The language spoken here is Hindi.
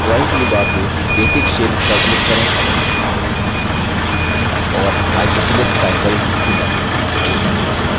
drawing toolbar से basic shapes पर click करें और isosceles triangle चुनें